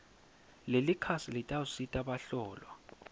lelikhasi litawusita bahlolwa